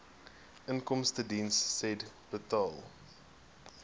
inkomstediens said inbetaal